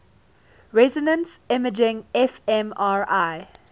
resonance imaging fmri